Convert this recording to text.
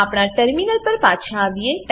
આપણા ટર્મિનલ પર પાછા આવીએ